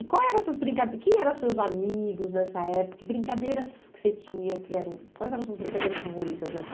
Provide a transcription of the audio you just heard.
E quais eram as suas brinca, quem eram os seus amigos nessa época, que brincadeiras que você tinha, que eram, quais eram as suas brincadeiras favoritas nessa?